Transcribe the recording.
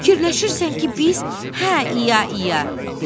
Fikirləşirsən ki, biz, hə İya-iya, dedi.